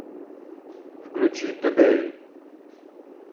включи тудэй